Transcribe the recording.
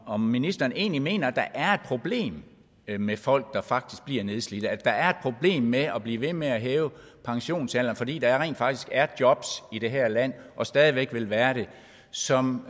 om ministeren egentlig mener at der er et problem med folk der faktisk bliver nedslidte at der er problem med at blive ved med at hæve pensionsalderen fordi der rent faktisk er jobs i det her land og stadig væk vil være det som